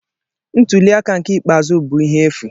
Ntuli aka nke ikpeazụ bụ ihe efu.